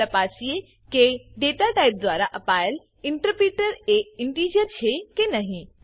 હવે તપાસીએ કે ડેટાટાઇપ દ્વારા અપાયેલ ઇન્ટરપીટર એ ઇનટીજર છે કે નહી